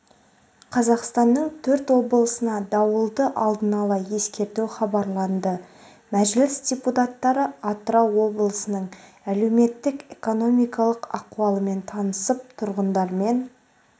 қазақстанның төрт облысына дауылды алдын ала ескерту хабарланды мәжіліс депутаттары атырау облысының әлеуметтік-экономикалық ахуалымен танысып тұрғындармен